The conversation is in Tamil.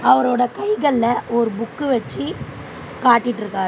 அவரோட கைகள்ல ஒரு புக்கு வெச்சு காட்டிட்ருக்காரு.